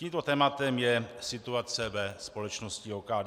Tímto tématem je situace ve společnosti OKD.